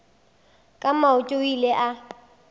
ka maoto o ile a